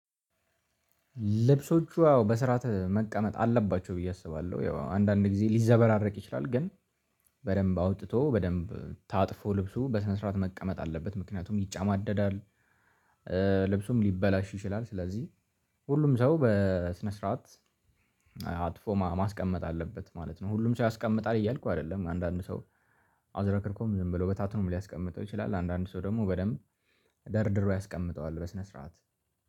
ልብሶቹ አዎ በስርዓት መቀመጥ አለባቸው ብዬ አስባለሁ ያው አንዳንድ ጊዜ ሊዘበራረቅ ይችላል ግን። በደንብ አውጥቶ በደንብ ታጥፎ ልብሱ በስነ ስርዓት መቀመጥ አለበት ምክንያቱም ይጫማደዳል። ልብሱም ሊበላሽ ይችላል ስለዚህ ሁሉም ሰው በስነ ስርዓት። አጥፎ ማስቀመጥ አለበት ማለት ነው። ሁሉም ሰው ያስቀምጣል እያልኩ አይደለም አንዳንድ ሰው አዝረክርኮም ዝም ብሎ በታትኖም ሊያስቀምጠው ይችላል። አንዳንድ ሰው ደግሞ በደንብ ደርድሮ ያስቀምጠዋል በስነ ስርዓት